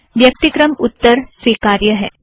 व्यक्तिक्रम उत्तर स्वीकार्य हैं